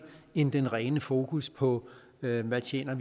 end det rene fokus på hvad man tjener